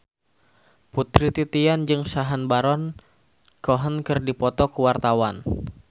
Putri Titian jeung Sacha Baron Cohen keur dipoto ku wartawan